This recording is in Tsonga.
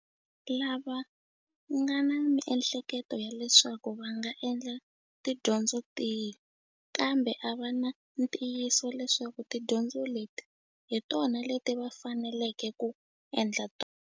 Lava nga na miehleketo ya leswaku va nga endla tidyondzo tihi kambe a va na ntiyiso leswaku tidyondzo leti hi tona leti va faneleke ku endla tona.